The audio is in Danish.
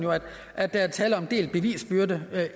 at der er tale om delt bevisbyrde